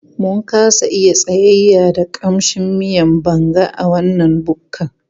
Mun kasa iya tsayayya da ƙamshin miyan Banga a wannan bukkan